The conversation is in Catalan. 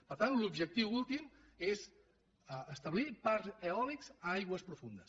per tant l’objectiu últim és establir parcs eòlics en aigües profundes